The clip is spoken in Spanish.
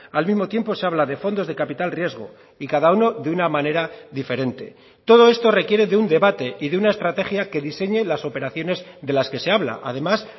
al mismo tiempo se habla de fondos de capital riesgo y cada uno de una manera diferente todo esto requiere de un debate y de una estrategia que diseñe las operaciones de las que se habla además